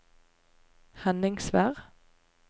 Henningsvær